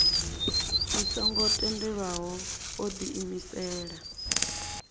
i songo tendelwaho o diimisela